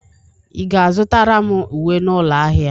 Ị ga-azụtara m uwe n'ụlọ ahịa?